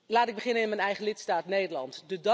Laat ik beginnen in m'n eigen lidstaat, Nederland.